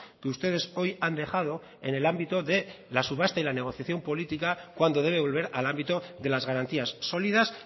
que ustedes hoy han dejado en el ámbito de la subasta y la negociación política cuando debe volver al ámbito de las garantías solidas